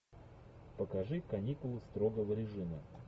покажи каникулы строгого режима